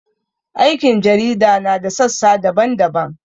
Aikin jarida na da sassa daban-daban.